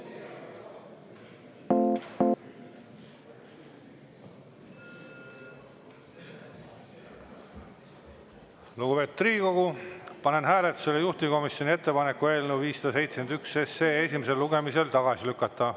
Lugupeetud Riigikogu, panen hääletusele juhtivkomisjoni ettepaneku eelnõu 571 esimesel lugemisel tagasi lükata.